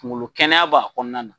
Kungolo kɛnɛya b'a kɔnɔna na.